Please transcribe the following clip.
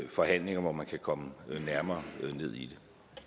forhandlinger hvor man kan komme nærmere ned i